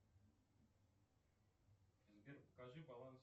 сбер покажи баланс